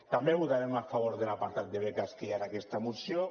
també votarem a favor de l’apartat de beques que hi ha en aquesta moció